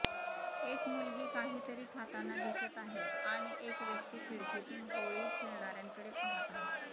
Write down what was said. एक मुलगी काहीतरी खाताना दिसत आहे आणि एक व्यक्ती खिडकीतून होळी खेळणाऱ्यांकडे पाहत आहे